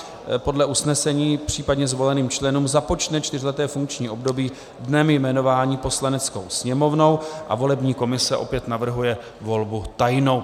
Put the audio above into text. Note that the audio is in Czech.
Podle usnesení případně zvoleným členům započne čtyřleté funkční období dnem jmenování Poslaneckou sněmovnou a volební komise opět navrhuje volbu tajnou.